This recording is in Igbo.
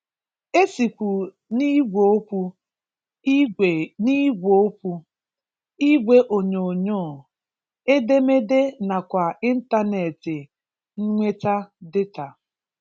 E sịkwu n’ìgwè okwu, ìgwè n’ìgwè okwu, ìgwè onyòonyò, edemede nakwa ịntànẹ̀etị nweta data.